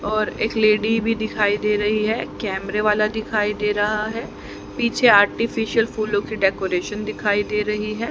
और एक लेडी भी दिखाई दे रही कैमरे वाला दिखाई दे रहा है पीछे आर्टिफिशियल फूलों की डेकोरेशन दिखाई दे रही है।